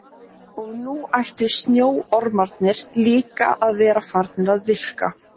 Og nú ættu snjóormarnir líka að vera farnir að virka.